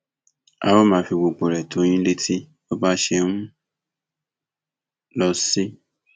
a ó máa fi gbogbo rẹ tó yín létí bó bá ṣe ń lọ sí